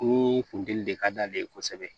Ni funteni de ka d'ale ye kosɛbɛ